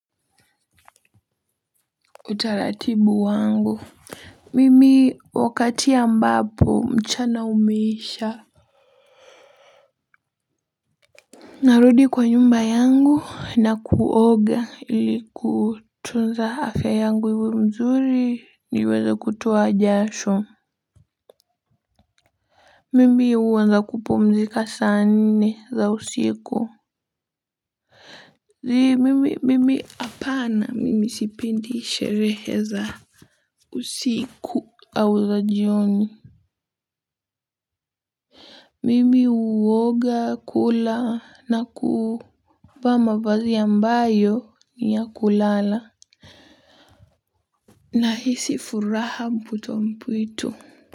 Utaratibu wangu mimi wakati ambapo mchana umeisha narudi kwa nyumba yangu na kuoga ilikutunza afya yangu iwe mzuri niweza kutoa jasho mimi huanza kupumzika sa nne za usiku ni mimi mimi hapana mimi sipendi sherehe za usiku au za jioni mimi huoga kula na kuvaa mavazi ambayo ni ya kulala. Na hisi furaha mputo mpuitu.